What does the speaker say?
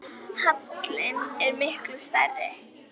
Halinn er miklu stærri.